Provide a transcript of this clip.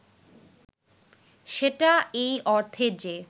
সেটা এই অর্থে যে